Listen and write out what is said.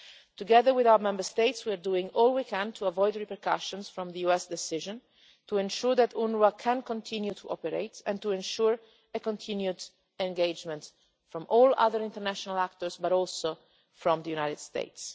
Together with our Member States, we are doing all we can to avoid repercussions from the US decision to ensure that UNWRA can continue to operate and to ensure a continued engagement from all other international actors, but also from the United States.